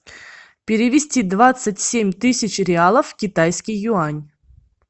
перевести двадцать семь тысяч реалов в китайский юань